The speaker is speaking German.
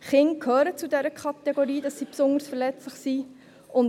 Kinder gehören zur Kategorie der besonders verletzlichen Personen.